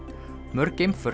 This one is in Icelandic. mörg geimför